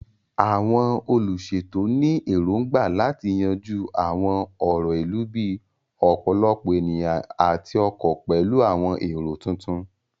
Àwọn olùṣètò ní èrògbà láti yanjú àwọn ọ̀rọ̀ ìlú bíi ọ̀pọ̀lọpọ̀ ènìyàn àti ọkọ̀ pẹ̀lú àwọn èrò tuntun.